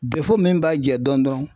min b'a jɛ dɔɔnin dɔrɔn.